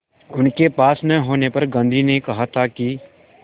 उनके पास न होने पर गांधी ने कहा था कि